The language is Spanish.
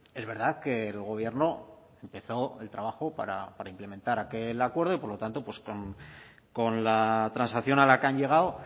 es verdad que el gobierno empezó el trabajo para implementar aquel acuerdo y por lo tanto pues con la transacción a la que han llegado